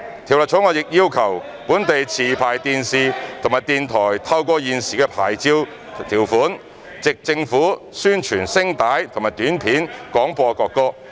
《條例草案》亦要求本地持牌電視及電台根據現時的牌照條款，藉政府宣傳聲帶或短片廣播國歌。